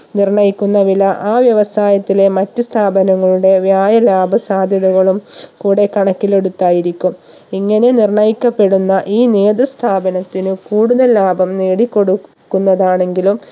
നിർണ്ണയിക്കുന്ന വില ആ വ്യവസായത്തിലെ മറ്റു സ്ഥാപങ്ങളുടെ വ്യായ ലാഭ സാധ്യതകളും കൂടെ കണക്കിലെടുത്തായിരിക്കും ഇങ്ങനെ നിർണ്ണയിക്കപ്പെടുന്ന ഈ നേതൃ സ്ഥാപനത്തിന് കൂടുതൽ ലാഭം നേടി കൊടു ക്കുന്നതാണെങ്കിലും